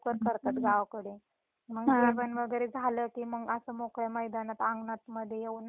मग जेवण वैगरे झाल की मंग अस मोकळ मैदानात अंगणात येऊन नाही का अशी शेकोटी करतात.